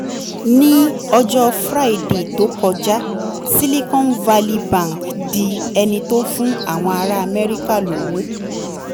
ní ọjọ́ friday tó kọjá silicon valley bank di ẹni tó fún àwọn ará amẹ́ríkà lówó